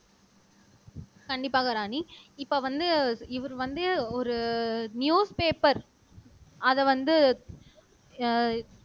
கண்டிப்பாக ராணி இப்ப வந்து இவரு வந்து ஒரு நியூஸ் பேப்பர் அத வந்து அஹ்